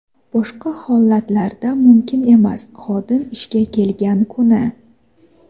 Boshqa holatlarda mumkin emas (xodim ishga kelgan kuni).